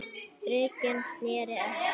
Bringan sneri að hafi.